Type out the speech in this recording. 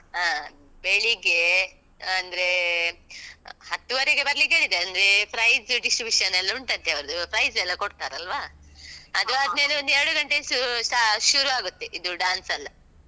ಹ. ಬೆಳಿಗ್ಗೆ ಅಂದ್ರೇ ಹತ್ತೂವರೆಗೆ ಬರ್ಲಿಕ್ಕೆ ಹೇಳಿದ್ದೆ ಅಂದ್ರೆ prize distribution ಎಲ್ಲ ಉಂಟಂತೆ ಅವರ್ದು, prize ಎಲ್ಲ ಕೊಡ್ತಾರಲ್ವಾ? ಅದು ಆದ್ಮೇಲೆ ಒಂದೆರಡು ಗಂಟೆ ಶೂ~ ಶ~ ಶುರು ಆಗುತ್ತೆ ಇದು dance ಎಲ್ಲ.